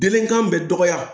Denkan bɛ dɔgɔya